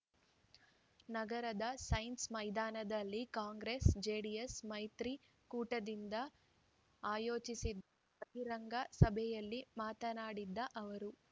ನಗರದ ಸೈನ್ಸ್ ಮೈದಾನದಲ್ಲಿ ಕಾಂಗ್ರೆಸ್‌ಜೆಡಿಎಸ್‌ ಮೈತ್ರಿಕೂಟದಿಂದ ಆಯೋಜಿಸಿದ್ದ ಬಹಿರಂಗ ಸಭೆಯಲ್ಲಿ ಮಾತನಾಡಿದ ಅವರು